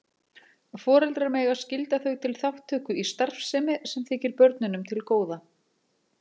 Foreldrar mega skylda þau til þátttöku í starfsemi sem þykir börnunum til góða.